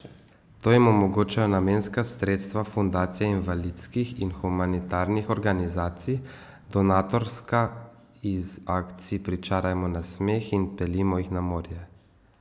To jim omogočajo namenska sredstva Fundacije invalidskih in humanitarnih organizacij, donatorska iz akcij Pričarajmo nasmeh in Peljimo jih na morje!